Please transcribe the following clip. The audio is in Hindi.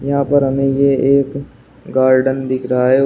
यहां पर हमें ये एक गार्डन दिख रहा है औ--